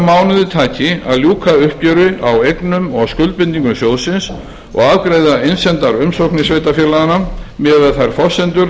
mánuði taki að ljúka uppgjöri á eignum og skuldbindingum sjóðsins og afgreiða umsamdar umsóknir sveitarfélaganna miðað við þær forsendur